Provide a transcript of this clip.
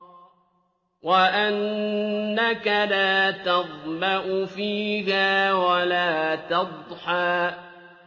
وَأَنَّكَ لَا تَظْمَأُ فِيهَا وَلَا تَضْحَىٰ